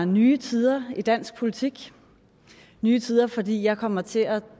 nye tider i dansk politik nye tider fordi jeg kommer til at